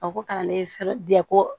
A ko kalanden fɛ ko